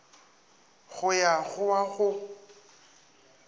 go ya go wa go